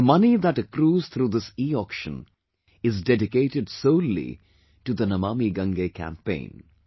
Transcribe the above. The money that accrues through this Eauction is dedicated solely to the Namami Gange Campaign